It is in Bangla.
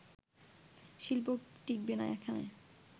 শিল্প টিকবে না এখানে